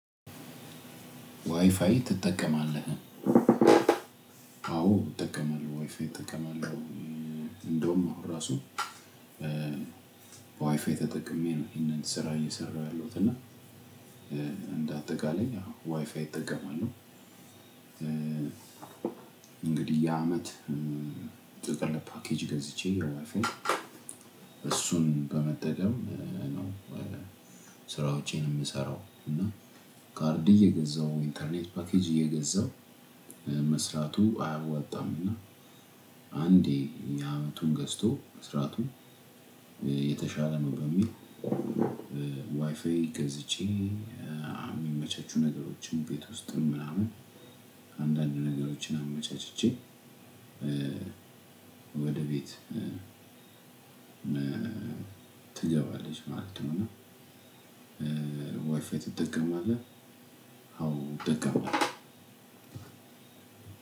"ዋይፋይ ትጠቀማለህ?" አዎ እጠቀማለሁ ዋይፋይ እጠቀማለሁ። እንደውም እኮ ራሱ በዋይፋይ ተጠቅሜ ይሄንን ስራ እየሰራሁ ያለሁት እና እንደ አጠቃላይ ዋይፋይ እጠቀማለሁ። እንግዲህ የአመት ጥቅል ፓኬጅ ገዝቼ የዋይፋይ አሱን በመጠቀም ነው ስራዎቼን የምሰራው እና ካርድ እየገዛሁ ኢንተርኔት ፓኬጅ እየገዛሁ መስራቱ አያወጣምና አንዴ የአመቱን ገዝቶ መስራቱ የተሻለ ነው በሚል ዋይፋይ ገዝቼ የሚመቻቹ ነገሮችን ቤት ውስጥ ምናምን አንዳንድ ነገሮችን አመቻችቼ ወደ ቤት ትገባለች ማለት ነው፤ እና "ዋይፋይ ትጠቀማለህ?" አዎ አጠቀማለሁ።